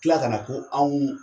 Tila ka na ko anw